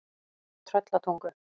Tröllatungu